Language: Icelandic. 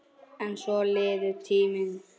En svona líður tíminn.